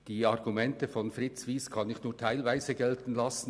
Die Argumente von Fritz Wyss kann ich nur teilweise gelten lassen.